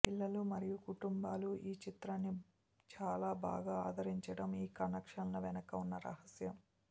పిల్లలు మరియు కుటుంబాలు ఈ చిత్రాన్ని చాలా బాగా ఆదరించడం ఈ కలెక్షన్ల వెనక ఉన్న రహస్యం